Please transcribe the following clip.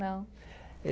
Não.